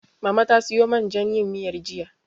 Mama ta siyo man jan yin miyar, jiya.